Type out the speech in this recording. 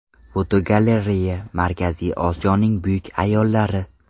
Fotogalereya: Markaziy Osiyoning buyuk ayollari.